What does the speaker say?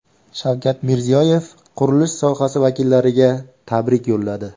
Shavkat Mirziyoyev qurilish sohasi vakillariga tabrik yo‘lladi.